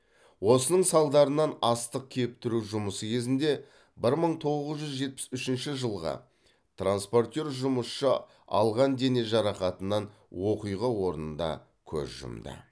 осының салдарынан астық кептіру жұмысы кезінде бір мың тоғыз жүз жетпіс үшінші жылғы транспортер жұмысшысы алған дене жарақатынан оқиға орнында көз жұмды